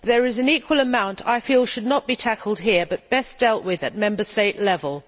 There is an equal amount I feel should not be tackled here but best dealt with at Member State level.